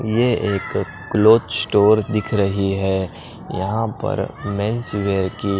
ये एक cloth store दिख रही है यहां पर मेंस वेयर की--